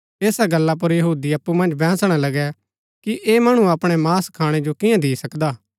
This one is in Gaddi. ऐसा गल्ला पुर यहूदी अप्पु मन्ज बैंहसणा लगै कि ऐह मणु अपणा मांस खाणै जो कियां दि सकदा